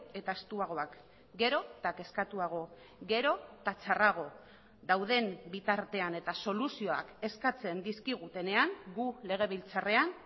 eta estuagoak gero eta kezkatuago gero eta txarrago dauden bitartean eta soluzioak eskatzen dizkigutenean gu legebiltzarrean